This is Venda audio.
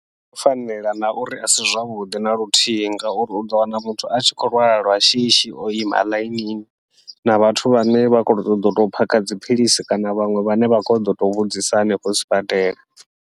Zwo fanela na uri asi zwavhuḓi naluthihi, ngauri uḓo wana muthu a tshi khou lwala lwa shishi oima ḽainini na vhathu vhane vha khou ṱoḓa uto phakha dziphilisi, kana vhaṅwe vhane vha khou ṱoḓa uto vhudzisa hanefho sibadela.